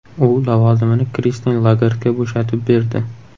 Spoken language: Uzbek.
U lavozimini Kristin Lagardga bo‘shatib berdi.